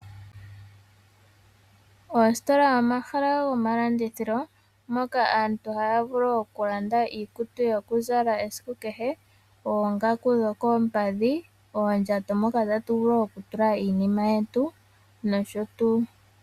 Oositola omahala gomalandithilo moka aantu haya vulu okulanda iikutu yokuzala esiku kehe, oongaku dho koompadhi, oondjato moka tatu vulu okutula iinima yetu nosho tuu.